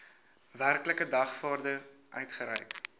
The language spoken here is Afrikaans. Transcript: werklike dagvaarding uitgereik